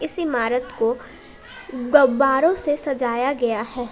इस इमारत को गब्बारो से सजाया गया है।